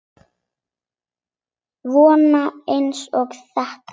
Svona eins og þetta!